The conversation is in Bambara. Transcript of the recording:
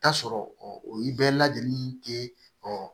Taa sɔrɔ o ye bɛɛ lajɛlen tɛ